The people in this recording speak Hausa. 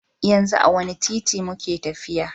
Yanzu a wanne titi muke tafiya?